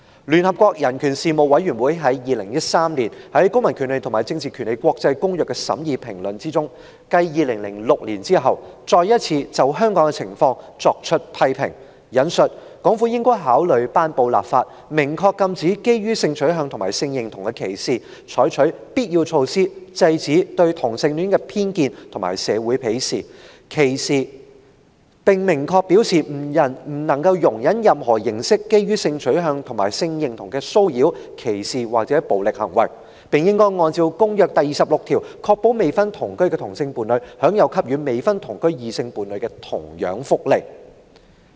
聯合國人權事務委員會在2013年於《公民權利和政治權利國際公約》的審議評論中，繼2006年之後，再次評論香港的情況："港府應考慮頒布法例，明確禁止基於性取向和性認同的歧視，採取必要措施制止對同性戀的偏見和社會岐視，並明確表示不容忍任何形式基於性取向和性認同的騷擾、歧視或暴力行為，並應按照《公約》第26條，確保未婚同居的同性伴侶享有給予未婚同居的異性伴侶的同樣福利。